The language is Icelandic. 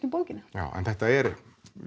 um bókina já en þetta er